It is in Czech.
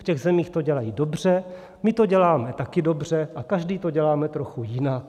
V těch zemích to dělají dobře, my to děláme taky dobře a každý to děláme trochu jinak.